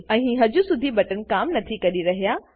અહીં હજુ સુધી બટન કામ નથી કરી રહ્યા